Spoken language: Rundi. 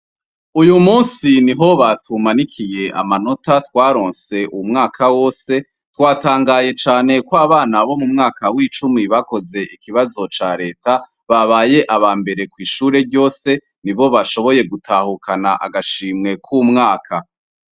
Uyumunsi niho batumanikiy' amanota twarons' umwaka wose, twatangaye cane kw' abana bo mu mwaka w' icumi bakoz' ikibazo ca Leta babay' abambere kwishure ryose, nibo bashoboye gutahukan' agashimwe k' umwaka